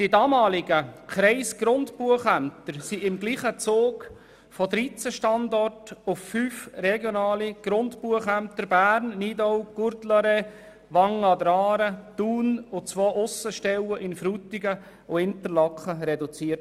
Die damaligen Kreisgrundbuchämter wurden im gleichen Zug von 13 Standorten auf fünf regionale Grundbuchämter Bern, Nidau, Courtelary, Wangen an der Aare, Thun und zwei Aussenstellen in Frutigen und Interlaken reduziert.